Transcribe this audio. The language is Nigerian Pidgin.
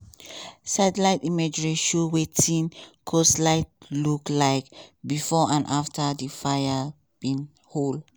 satellite imagery show wetin coastline look like bifor and afta di fires bin hold.